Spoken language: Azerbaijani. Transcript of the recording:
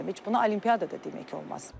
Heç buna olimpiyada da demək olmaz.